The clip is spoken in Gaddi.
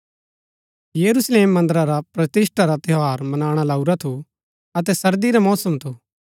यरूशलेम मन्दरा रा प्रतिष्‍ठा रा त्यौहार मनाणा लाऊरा थू अतै सर्दी रा मौसम थू